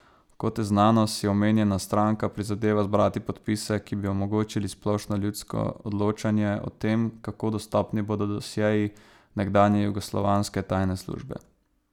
Kot je znano, si omenjena stranka prizadeva zbrati podpise, ki bi omogočili splošno ljudsko odločanje o tem, kako dostopni bodo dosjeji nekdanje jugoslovanske tajne službe.